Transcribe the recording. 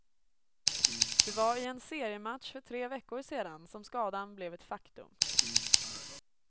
Det var i en seriematch för tre veckor sedan som skadan blev ett faktum.